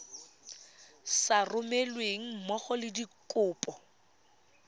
sa romelweng mmogo le dikopo